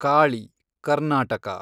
Kali , Karnataka